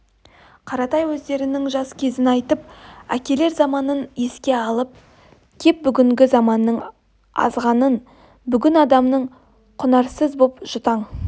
қаратай өздерінің жас кезін айтып әкелер заманын еске алып кеп бүгінгі заманның азғанын бүгінгі адамның құнарсыз боп жұтаң